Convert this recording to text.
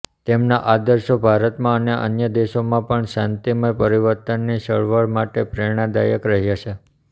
તેમના આદર્શો ભારતમાં અને અન્ય દેશોમાં પણ શાંતિમય પરિવર્તનની ચળવળ માટે પ્રેરણાદાયક રહ્યા છે